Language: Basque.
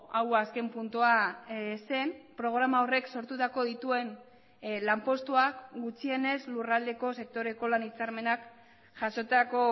hau azken puntua zen programa horrek sortutako dituen lanpostuak gutxienez lurraldeko sektoreko lan hitzarmenak jasotako